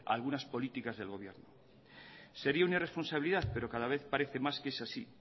a algunas políticas del gobierno sería una irresponsabilidad pero cada vez parece más que es así